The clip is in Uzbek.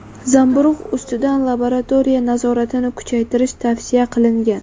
zamburug‘ ustidan laboratoriya nazoratini kuchaytirish tavsiya qilingan.